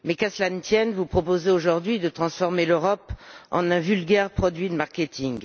Mais qu'à cela ne tienne, vous proposez aujourd'hui de transformer l'Europe en un vulgaire produit de marketing.